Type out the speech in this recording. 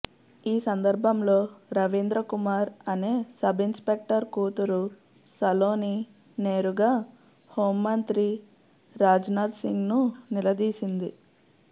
ఈ సందర్భంలో రవీంద్ర కుమార్ అనే సబ్ ఇన్స్పెక్టర్ కూతురు సలోని నేరుగా హోం మంత్రి రాజ్నాథ్ సింగ్ను నిలదీసింది